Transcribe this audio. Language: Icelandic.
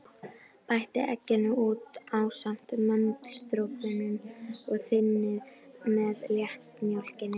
Bætið egginu út í ásamt möndludropunum og þynnið með léttmjólkinni.